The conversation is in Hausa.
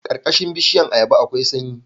Karkashin bishiyar ayaba akwai sanyi